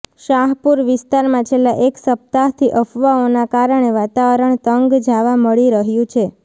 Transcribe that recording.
શાહપુર વિસ્તારમાં છેલ્લા એક સપ્તાહથી અફવાઓના કારણે વાતાવરણ તંગ જાવા મળી રહ્યુ છે